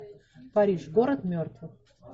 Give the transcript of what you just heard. париж город мертвых